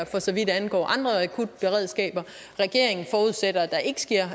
for så vidt angår andre akutberedskaber regeringen forudsætter at der ikke sker